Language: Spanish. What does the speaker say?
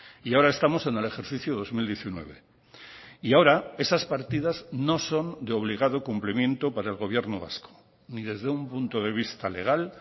y ahora estamos en el ejercicio dos mil diecinueve y ahora esas partidas no son de obligado cumplimiento para el gobierno vasco ni desde un punto de vista legal